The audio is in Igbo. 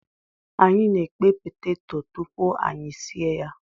Anyi na-ekpe peteto tupu anyị sie ya.